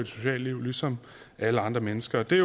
sociale liv ligesom alle andre mennesker det er